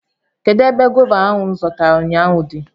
Kedụ ebe gọva ahụ m zụtara ụnyaahụ dị?